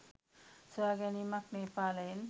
සොයාගැනීමක් නේපාලයෙන්.